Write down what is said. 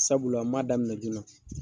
Sabula n m'a daminɛ joona.